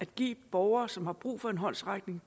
de borgere som har brug for en håndsrækning